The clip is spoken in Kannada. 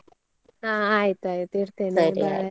ಹಾ ಆಯ್ತಾಯ್ತು ಇಡ್ತೇನೆ .